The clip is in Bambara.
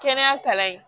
Kɛnɛya kalan yen